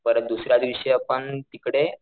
परत दुसऱ्या दिवशी आपण तिकडे,